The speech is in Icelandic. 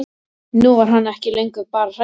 Nú var hann ekki lengur bara hræddur um